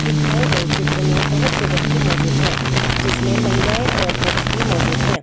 दिखाए गए चित्र में बहुत से व्यक्ति मौजूद हैं जिसमें महिलाएं और पुरुष भी मौजूद हैं।